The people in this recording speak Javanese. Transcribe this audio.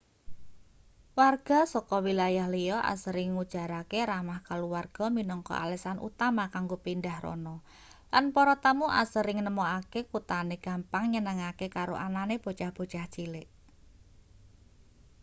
warga saka wilayah liya asring ngujarake ramah kaluwarga minangka alesan utama kanggo pindhah rana lan para tamu asring nemokake kuthane gampang nyenengake karo anane bocah-bocah cilik